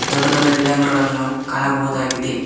ದೊಡ್ಡ ದೊಡ್ಡ ಗಿಡ ಮರಗಳನ್ನು ನಾವು ಕಾಣಬಹುದಾಗಿದೆ.